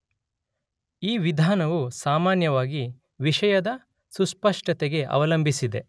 ಈ ವಿಧಾನವು ಸಾಮಾನ್ಯವಾಗಿ ವಿಷಯದ ಸುಸ್ಪಷ್ಟತೆ ಅವಲಂಬಿಸಿದೆ.